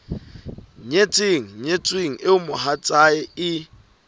nyetseng nyetsweng eo mohatsae e